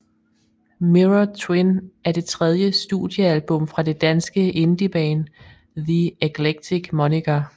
Mirror Twin er det tredje studiealbum fra det danske indieband The Eclectic Moniker